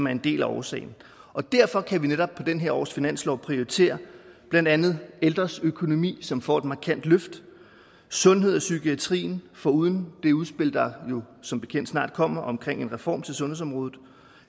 er en del af årsagen derfor kan vi netop på det her års finanslov prioritere blandt andet ældres økonomi som får et markant løft sundhed og psykiatrien foruden det udspil der som bekendt snart kommer omkring en reform af sundhedsområdet